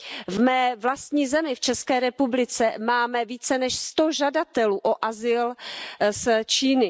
V mé vlastní zemi, v České republice, máme více než sto žadatelů o azyl z Číny.